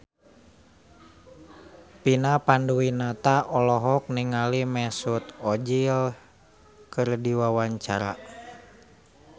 Vina Panduwinata olohok ningali Mesut Ozil keur diwawancara